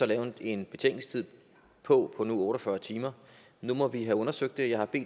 lavet en betænkningstid på otte og fyrre timer nu må vi have undersøgt det jeg har